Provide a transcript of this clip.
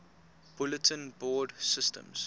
bulletin board systems